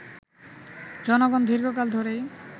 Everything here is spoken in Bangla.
জনগণ দীর্ঘকাল ধরেই